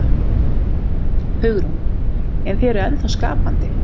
Hugrún: En þið eruð ennþá skapandi?